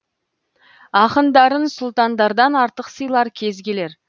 ақындарын сұлтандардан артық сыйлар кез келер